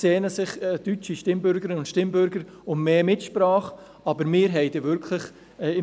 Klar, deutsche Stimmbürgerinnen und Stimmbürger sehnen sich nach mehr Mitsprache.